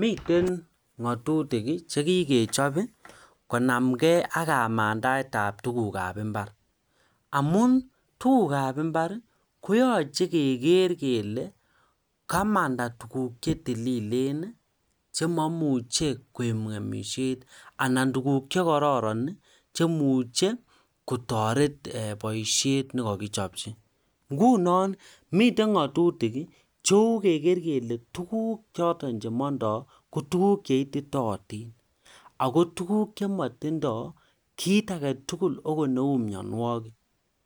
Miten ngatutik chekikechob ii konamngei aK kamandaetab tugukab imbar amun tukukab imbar koyoche kegeer kele kamanda tuguk che tililen chemomuche koib ngemisiet anan tuguk che kororon che imuchel kotoret boisiet ne kokichopji nguno miten ngatutik Ii cheu kegeer kele tuguchoton chemondoi kotuguk cheititoodin ako tuguk che motindoi kiit aketugul akot cheu mionwogik